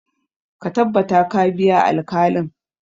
Ka tabbata ka biya alkalin!